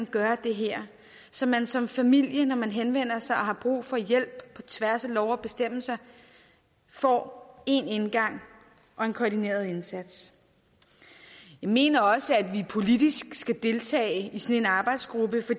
gøre det her så man som familie når man henvender sig og har brug for hjælp på tværs af love og bestemmelser får én indgang og en koordineret indsats jeg mener også at vi politisk skal deltage i sådan en arbejdsgruppe